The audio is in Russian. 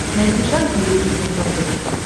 найти шант мьюзик на смотрешке